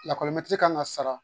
Lakɔlimɛtiri kan ka sara